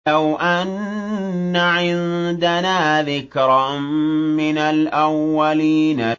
لَوْ أَنَّ عِندَنَا ذِكْرًا مِّنَ الْأَوَّلِينَ